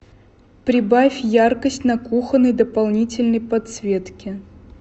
прибавь яркость на кухонной дополнительной подсветке